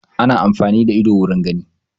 Ana amfani da ido wurin gani